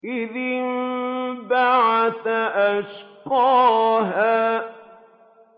إِذِ انبَعَثَ أَشْقَاهَا